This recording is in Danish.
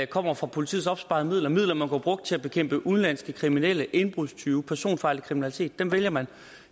kommer fra politiets opsparede midler midler man kunne have brugt til at bekæmpe udenlandske kriminelle indbrudstyve og personfarlig kriminalitet vælger man